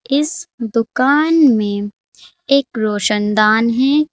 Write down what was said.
इस दुकान में एक रोशनदान है।